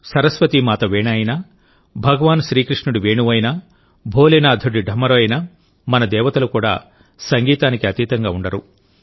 సరస్వతీ మాత వీణ అయినా భగవాన్ శ్రీకృష్ణుడి వేణువు అయినా భోలేనాథుడి ఢమరు అయినామన దేవతలు కూడా సంగీతానికి భిన్నంగా ఉండరు